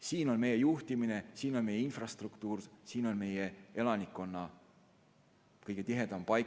Siin on meie juhtimine, siin on meie infrastruktuur, siin on meie elanikkonna paiknemine kõige tihedam.